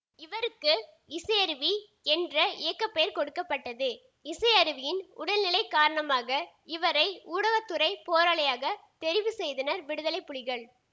இவருக்கு இசையருவி என்ற இயக்க பெயர் கொடுக்க பட்டது இசையருவியின் உடல்நிலை காரணமாக இவரை ஊடகத்துறைப் போராளியாக தெரிவு செய்தனர் விடுதலை புலிகள்